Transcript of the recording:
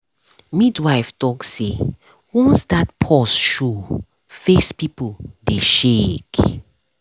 midwife talk say once that pause show face people dey shake.